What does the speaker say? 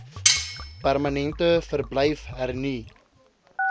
permanente verblyf hernu